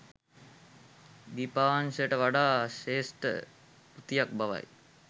දීපවංශයට වඩා ශ්‍රේෂ්ඨ කෘතියක් බවයි.